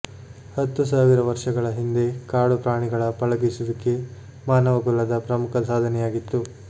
ಹತ್ತು ಸಾವಿರ ವರ್ಷಗಳ ಹಿಂದೆ ಕಾಡು ಪ್ರಾಣಿಗಳ ಪಳಗಿಸುವಿಕೆ ಮಾನವಕುಲದ ಪ್ರಮುಖ ಸಾಧನೆಯಾಗಿತ್ತು